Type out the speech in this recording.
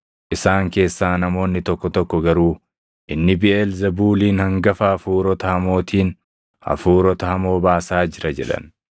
Isaan keessaa namoonni tokko tokko garuu, “Inni Biʼeelzebuuliin, hangafa hafuurota hamootiin hafuurota hamoo baasaa jira” jedhan.